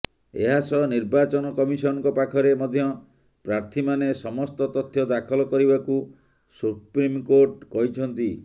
ଏହାସହ ନିର୍ବାଚନ କମିଶନଙ୍କ ପାଖରେ ମଧ୍ୟ ପ୍ରାର୍ଥୀମାନେ ସମସ୍ତ ତଥ୍ୟ ଦାଖଲ କରିବାକୁ ସୁପ୍ରିମକୋର୍ଟ କହିଛନ୍ତି